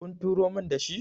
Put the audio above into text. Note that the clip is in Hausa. kun turo min da shi?